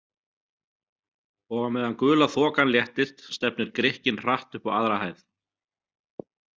Og á meðan gula þokan léttist stefnir Grikkinn hratt upp á aðra hæð.